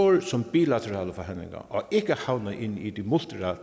som bilaterale forhandlinger og at ikke havner inde i de